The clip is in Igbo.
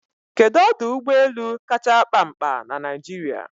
Kedu ọdụ ụgbọ elu kacha akpa ñkpa na Naịjirịa?